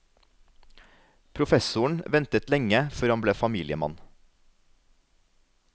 Professoren ventet lenge før han ble familiemann.